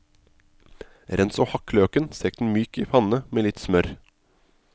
Rens og hakk løken, stek den myk i panne med litt smør.